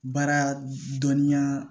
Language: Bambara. Baara dɔnniya